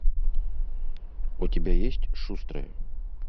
у тебя есть шустрые